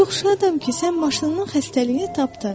“Mən çox şadam ki, sən maşının xəstəliyini tapdın.